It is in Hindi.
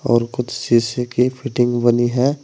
और कुछ शीशे की फिटिंग बनी है।